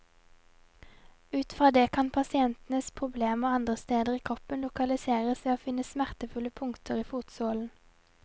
Ut fra det kan pasientenes problemer andre steder i kroppen lokaliseres ved å finne smertefulle punkter i fotsålen.